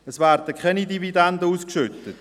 Es werden keine Dividenden ausgeschüttet.